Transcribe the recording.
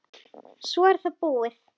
Ég er bara svona einsog.